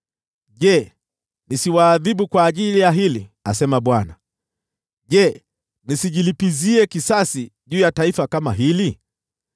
Je, nisiwaadhibu kwa ajili ya hili?” asema Bwana . “Je, nisijilipizie kisasi juu ya taifa kama hili?